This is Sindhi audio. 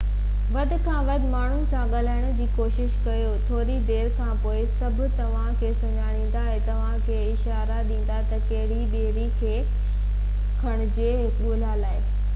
وڌ کان وڌ ماڻهن سان ڳالهائڻ جي ڪوشش ڪريو ٿوري دير کانپوءِ سڀ توهان کي سڃاڻيندا ۽ توهان کي اشارا ڏيندا تہ ڪهڙي ٻيڙي کي ڪنهنجي ڳولا آهي